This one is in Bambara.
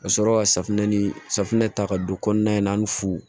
Ka sɔrɔ ka safunɛ ni safinɛ ta ka don kɔnɔna in na ani fuu